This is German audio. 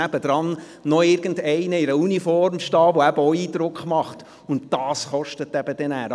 Vielmehr braucht es jemanden, der in Uniform daneben steht, der eben auch Eindruck macht, und genau das ist sehr kostspielig.